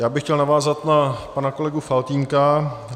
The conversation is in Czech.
Já bych chtěl navázat na pana kolegu Faltýnka.